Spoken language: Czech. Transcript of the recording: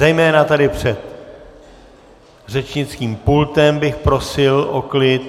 Zejména tady před řečnickým pultem bych prosil o klid.